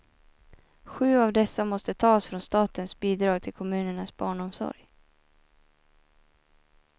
Sju av dessa måste tas från statens bidrag till kommunernas barnomsorg.